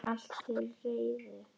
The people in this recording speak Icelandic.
Allt til reiðu.